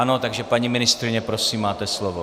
Ano, takže paní ministryně, prosím, máte slovo.